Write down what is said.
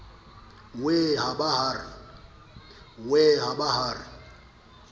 wee ha ba ha re